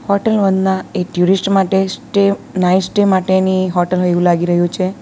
Hotel Vandana એ tourist માટે stay nights stay માટેની હોટલ હોય એવું લાગી રહ્યું છે.